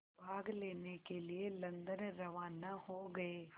भाग लेने के लिए लंदन रवाना हो गए